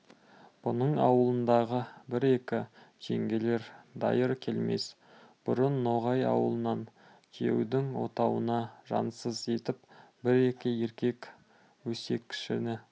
бұның ауылындағы бір-екі жеңгелер дайыр келмес бұрын ноғай ауылына күйеудің отауына жансыз етіп бір-екі еркек өсекшіні